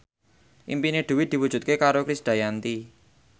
impine Dwi diwujudke karo Krisdayanti